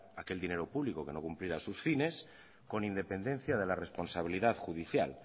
aquel dinero público que no cumpliera sus fines con independencia de la responsabilidad judicial